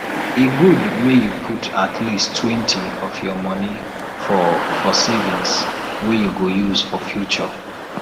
e good make you put at leasttwentyof your monie for for savings wey you go use for future